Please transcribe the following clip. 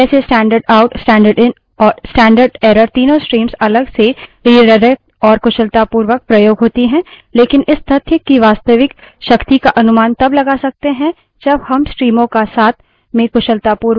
हमने देखा कि कैसे standard out standard in standard error तीनों streams अलग से रिडाइरेक्ट और कुशलतापूर्वक प्रयोग होती हैं लेकिन इस तथ्य की वास्तविक शक्ति का अनुमान तब लगा सकते हैं जब हम streams का साथ में कुशलतापूर्वक उपयोग करें we है भिन्न streams को जोड़ना